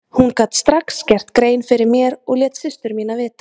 Hún gat strax gert grein fyrir mér og lét systur mína vita.